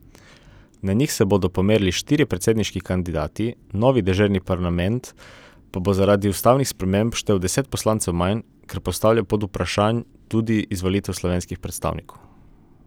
Na njih se bodo pomerili štirje predsedniški kandidati, novi deželni parlament pa bo zaradi ustavnih sprememb štel deset poslancev manj, kar postavlja pod vprašaj tudi izvolitev slovenskih predstavnikov.